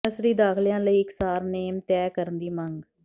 nursery ਦਾਖਲਿਆਂ ਲਈ ਇਕਸਾਰ ਨੇਮ ਤੈਅ ਕਰਨ ਦੀ ਮੰਗ